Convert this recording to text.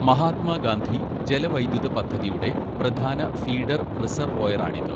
മഹാത്മാഗാന്ധി ജലവൈദ്യുത പദ്ധതിയുടെ പ്രധാന ഫീഡർ റിസർവോയറാണിത്.